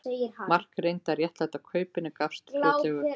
Mark reyndi að réttlæta kaupin en gafst fljótlega upp.